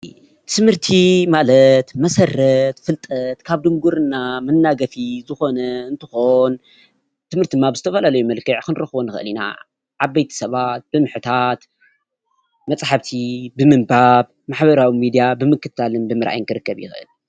ትምህርቲ ትምህርቲ ማለት መሰረት ፍልጠት ካብ ድንቁርና መናገፊ ዝኮነ እንትኾን ትምህርቲ ድማ ብዝተፈላለየ መልክዕ ክንረክቦ ንክእል ኢና፡፡ ዓበይቲ ሰባት ብምሕታት፣ መፃሓፍቲ ብምንባብ ፣ ማሕበራዊ ሚድያ ብምክትታልን ብምርአይን ክርከብ ይክእል፡፡